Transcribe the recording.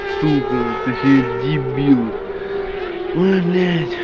супер ты ещё и дебил ой блять